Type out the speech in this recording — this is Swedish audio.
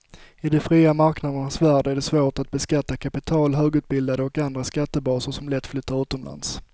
I de fria marknadernas värld är det svårt att beskatta kapital, högutbildade och andra skattebaser som lätt flyttar utomlands.